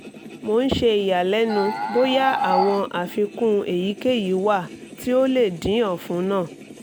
mo n ṣe iyalẹnu boya awọn afikun eyikeyi wa ti o le din ọfun naa